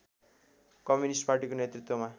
communist पार्टीको नेतृत्वमा